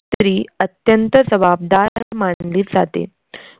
स्त्री अत्यंत जबाबदार मानली जाते,